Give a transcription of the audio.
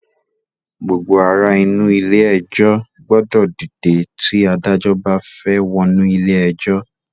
Gbogbo ara inú ilé ẹjọ́ gbọ́dọ̀ dìde tí Adájọ́ bá fẹ́ wọnú ilé ẹjọ́